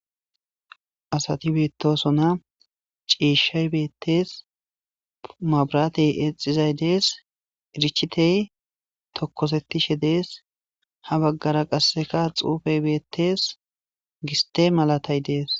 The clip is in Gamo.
Asati betosona, ciishay betesi. Mabiratey exizay Des. Irichitey tokosetishe Des. Ha bagara qaseka xuufey beetes. Giste malatay de'es